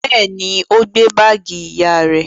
Bẹ́ẹ̀ ni, ó gbé báágì ìyá rẹ̀.